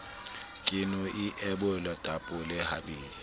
ke no ebola tapole habedi